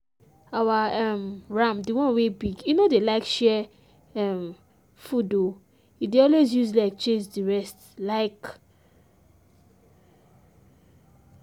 our um ram de one wey big e no dey like share um food o e dey alway use leg chase the rest. um